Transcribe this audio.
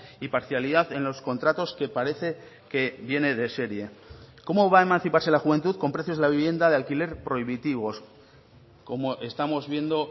y parcialidad en los contratos que parece que viene de serie cómo va a emanciparse la juventud con precios de la vivienda de alquiler prohibitivos como estamos viendo